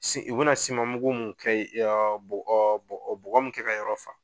u bɛna siman mugu mun kɛ bɔ bɔ bɔgɔ min kɛ ka yɔrɔ fa,